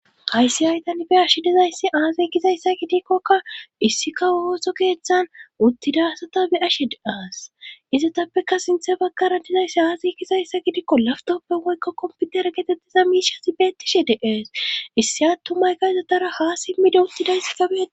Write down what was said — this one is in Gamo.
Hayssi haytan be ashi dizayssi aaziy kizayssa gidikkokka issika ooso geeththan uttidasata be ashede-aas izatappeka sinthe baggaran dizayssi aazey kizayssa gidiikko laftoppen woykko komputera geetettiza miishasi beettishe deees issi attumayka izotara haa simmide uttidayssi gabee.